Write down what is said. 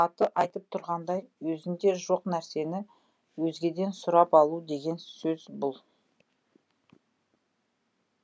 аты айтып тұрғандай өзіңде жоқ нәрсені өзгеден сұрап алу деген сөз бұл